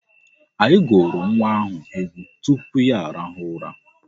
Anyị gụụrụ nwa ahụ egwu tupu ya arahụ ụra.